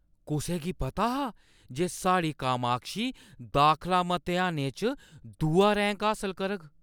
कुसै गी पता हा जे साढ़ी कामाक्षी दाखला मतेहानै च दूआ रैंक हासल करग?